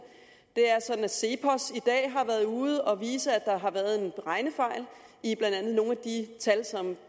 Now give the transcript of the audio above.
det er sådan at cepos i dag har været ude at vise at der har været regnefejl i blandt andet nogle af de tal som